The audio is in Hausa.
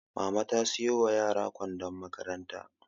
Mama ta siyo wa yara kwandon makaranta